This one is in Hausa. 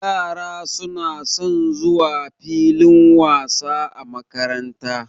Yara suna son zuwa filin wasa a makaranta.